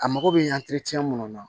A mago bɛ munnu na